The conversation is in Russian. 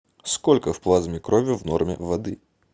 сколько в плазме крови в норме воды